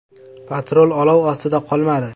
“Patrul olov ostida qolmadi.